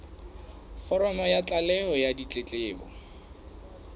foromo ya tlaleho ya ditletlebo